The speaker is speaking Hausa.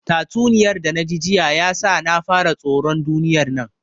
Tatsuniyar da naji jiya ya sa na fara tsoron duniyar nan